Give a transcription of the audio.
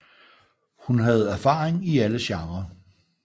Hun havde erfaring i alle genrer